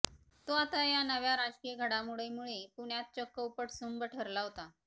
तो आता या नव्या राजकीय घडामोडीमुळे पुण्यात चक्क उपटसुंभ ठरला होता